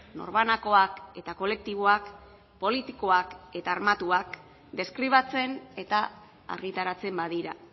norbanakoak eta kolektiboak politikoak eta armatuak deskribatzen eta argitaratzen badira